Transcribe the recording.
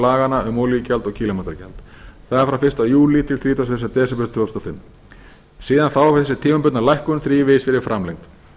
laganna um olíugjald og kílómetragjald það er frá þrítugasta og fyrsta júlí til þrítugasta og fyrsta desember tvö þúsund og fimm síðan þá hefur þessi tímabundna lækkun þrívegis verið framlengd